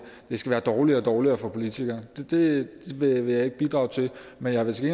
det skal være dårligere og dårligere for politikere det vil jeg ikke bidrage til men jeg vil til